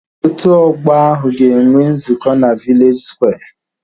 Ndị otu ọgbọ ahu ga enwe nzukọ na vileji skware